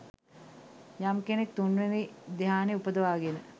යම් කෙනෙක් තුන්වෙනි ධ්‍යානය උපදවාගෙන